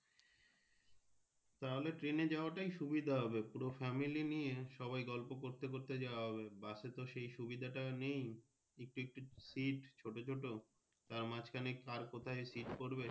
তাহলে Train এ যাওয়া তাই সুবিধা হবে পুরো Family নিয়ে সবাই গল্প করতে করতে যাওয়া হবে bus এ তো সেই সুবিধা টা নেই একটু একটু seat ছোট ছোট তাঁর মাজখানে কার কোথায় seat পড়বে।